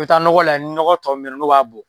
I bɛ taa nɔgɔ lajɛ ni ɲɔgɔ tɔ min bɛ ye nɔ n'o b'a bɔ.